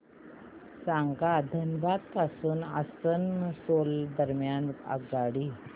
सांगा धनबाद पासून आसनसोल दरम्यान आगगाडी